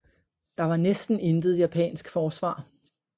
Der var næsten intet japansk forsvar